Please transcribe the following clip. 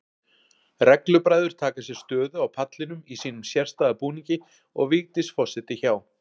Reglubræður taka sér stöðu á pallinum í sínum sérstæða búningi og Vigdís forseti hjá.